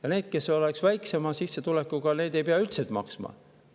Aga need, kes on väiksema sissetulekuga, ei peaks üldse maksma.